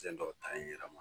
Sen dɔ ta n yɛrɛ ma